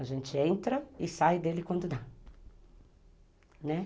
A gente entra e sai dele quando dá, né